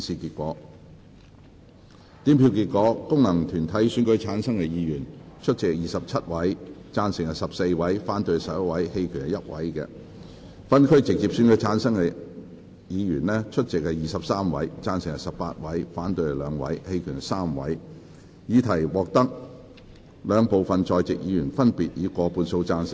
主席宣布經由功能團體選舉產生的議員，有26人出席 ，8 人贊成 ，16 人反對 ，1 人棄權；而經由分區直接選舉產生的議員，有23人出席 ，13 人贊成 ，8 人反對 ，2 人棄權。